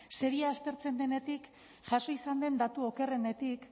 aztertzen denetik jaso izan den datu okerrenetik